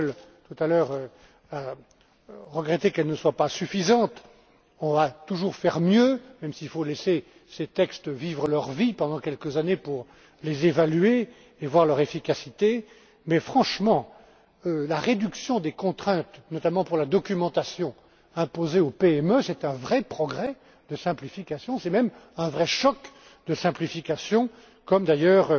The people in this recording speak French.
Engel, tout à l'heure, a regretté qu'elle ne soit pas suffisante. On va toujours faire mieux même s'il faut laisser ces textes vivre leur vie pendant quelques années pour les évaluer et voir leur efficacité mais, franchement, la réduction des contraintes, notamment pour la documentation imposée aux PME, est un vrai progrès de simplification. C'est même un vrai choc de simplification, comme d'ailleurs